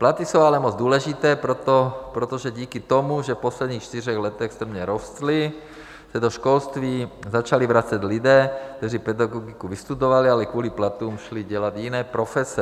Platy jsou ale moc důležité, protože díky tomu, že v posledních čtyřech letech strmě rostly, se do školství začali vracet lidé, kteří pedagogiku vystudovali, ale kvůli platům šli dělat jiné profese.